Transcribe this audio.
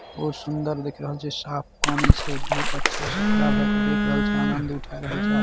बहुत सुन्दर देख रहल छै साफ पानी छै बहुत अच्छा से खड़ा भेय के देख रहल छै आनद उठाय रहल छै।